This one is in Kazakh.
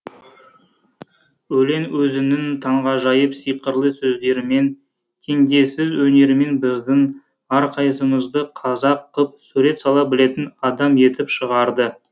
өлең өзінің таңғажайып сиқырлы сөздерімен теңдессіз өнерімен біздің әрқайсымызды қазақ қып сурет сала білетін адам етіп шығарды